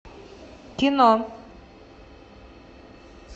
кино